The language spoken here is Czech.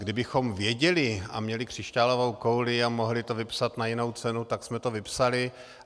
Kdybychom věděli a měli křišťálovou kouli a mohli to vypsat na jinou cenu, tak jsme to vypsali.